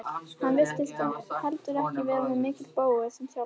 Hann virtist heldur ekki vera mikill bógur sem þjálfari.